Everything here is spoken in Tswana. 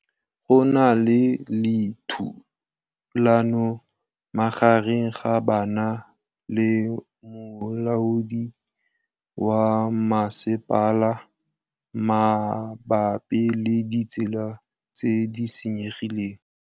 Go na le thulanô magareng ga banna le molaodi wa masepala mabapi le ditsela tse di senyegileng.